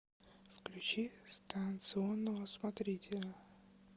включи станционного смотрителя